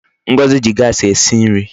Ngozi ji Gasi esi nri